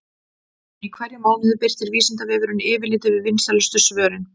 Í hverjum mánuði birtir Vísindavefurinn yfirlit yfir vinsælustu svörin.